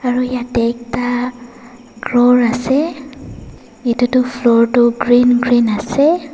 aru yate ekta kor ase etu tu floor tu green green ase.